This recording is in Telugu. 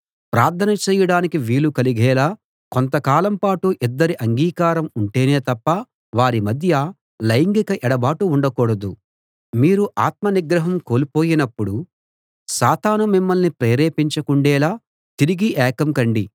ప్రార్థన చేయడానికి వీలు కలిగేలా కొంత కాలం పాటు ఇద్దరి అంగీకారం ఉంటేనే తప్ప వారి మధ్య లైంగిక ఎడబాటు ఉండకూడదు మీరు ఆత్మ నిగ్రహం కోల్పోయినప్పుడు సాతాను మిమ్మల్ని ప్రేరేపించకుండేలా తిరిగి ఏకం కండి